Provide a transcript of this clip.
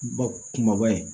Ba kumaba ye